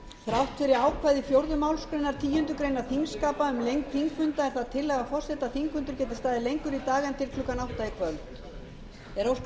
þrátt fyrir ákvæði fjórðu málsgreinar tíundu greinar þingskapa um lengd þingfunda er það tillaga forseta að þingfundur geti staðið lengur í dag en til klukkan átta